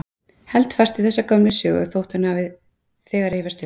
Held fast í þessa gömlu sögu þótt hún hafi þegar rifjast upp.